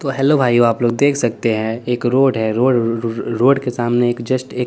तो हेल्लो भाइयो आप लोग देख सकते है एक रोड है रोड के सामने एक जस्ट एक--